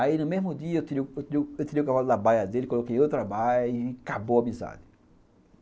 Aí, no mesmo dia, eu tirei eu tirei eu tirei o cavalo da baia dele, coloquei outra baia e acabou a amizade.